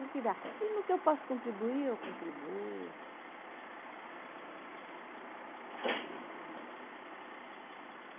E no que eu posso contribuir, eu contribuo. Você quer falar mais alguma